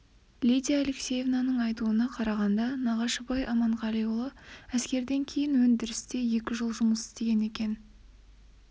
лидия алексеевнаның айтуына қарағанда нағашыбай аманғалиұлы әскерден кейін өндірісте екі жыл жұмыс істеген екен